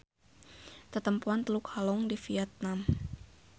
Tetempoan Teluk Halong di Vietnam.